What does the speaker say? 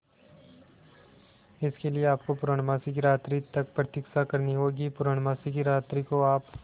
इसके लिए आपको पूर्णमासी की रात्रि तक प्रतीक्षा करनी होगी पूर्णमासी की रात्रि को आप